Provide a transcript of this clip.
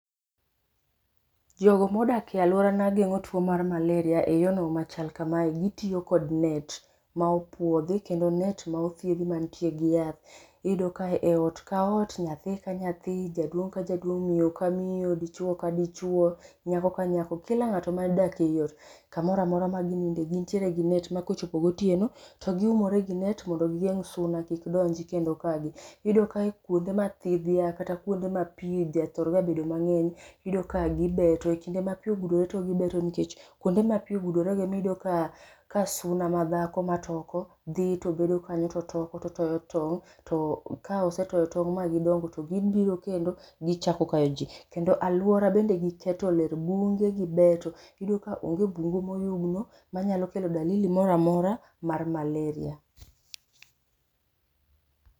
Jogo modak e aluarana geng'o tuo mar malaria e yono machal kamae gitiyo kod net ma opuodhi kendo net ma othiedhi mantie gi yath . Iyud ka ot ka ot, nyathi ka nyathi ,jaduong ka jaduong, miyo ka miyo, dichuo ka dichuo, nyako ka nyako kila ng'ato modak e iot kamoramora ma gininde gintiere gi net ma kochopo gotieno to giumore gi net mondo gigeng' suna kik donji. Iyudo ka kuonde ma thidhia kata kuonde ma pii ja thor bedo ga mang'eny iyudo ka gibedo. E kinde ma pii ogudore to gibeto nikech kuonde ma pii ogudore go e miyudo ka ka suna ma dhako matoko dhi to bedo kanyo to toko tong'. Ka gisetoko tong' ka gidogo to gibiro kendo gichako kayo jii kendo aluora bende giketo ler, bunge gibeto iyudo ka onge bungu moyugno manyalo kelo dalili moramora ma malaria.